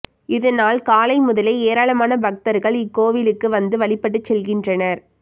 இதனால் காலை முதலே ஏராளமான பக்தர்கள் இக்கோயிலுக்கு வந்து வழிபட்டு செல்கின்றனர்